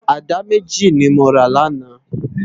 Àdá méjí ni mó rá làná